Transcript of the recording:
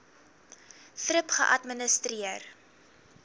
thrip geadministreer